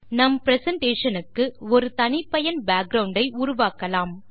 நம் பிரசன்டேஷன் க்கு ஒரு தனிப்பயன் பேக்கிரவுண்ட் ஐ உருவாக்கலாம்